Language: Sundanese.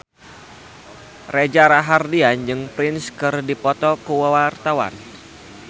Reza Rahardian jeung Prince keur dipoto ku wartawan